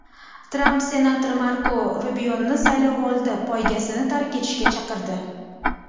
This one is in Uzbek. Tramp senator Marko Rubioni saylovoldi poygasini tark etishga chaqirdi.